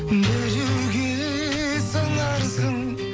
біреуге сыңарсың